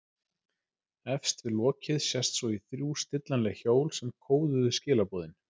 Efst við lokið sést svo í þrjú stillanleg hjól sem kóðuðu skilaboðin.